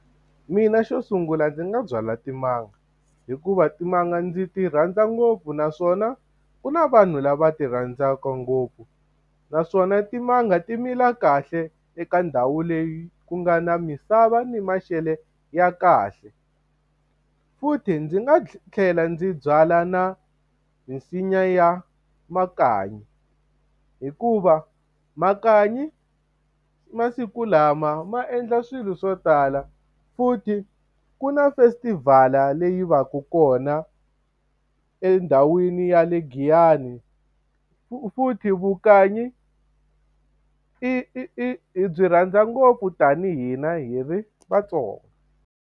Mina xo sungula ndzi nga byala timanga, hikuva timanga ndzi ti rhandza ngopfu naswona ku na vanhu lava ti rhandzaka ngopfu naswona timanga ti mila kahle eka ndhawu leyi ku nga na misava ni maxelo ya kahle. Futhi ndzi nga tlhela ndzi byala na misinya ya makanyi, hikuva makanyi masiku lama ma endla swilo swo tala. Futhi ku na festival-a leyi va ka kona endhawini ya le Giyani. Futhi vukanyi i i i hi byi rhandza ngopfu tanihi na hi ri vaTsonga.